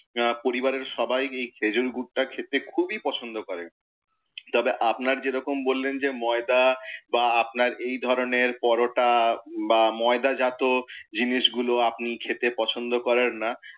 পরিবারের সবাই এই খেজুর গুঁড়টা খেতে খুবই পছন্দ করে। তবে আপনার যেরকম বললেন, যে ময়দা বা আপনার এই ধরণের পরটা বা ময়দা জাত জিনিসগুলো আপনি খেতে পছন্দ করেন না,